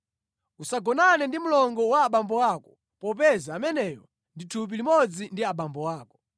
“ ‘Usagonane ndi mlongo wa abambo ako; popeza ameneyo ndi thupi limodzi ndi abambo ako.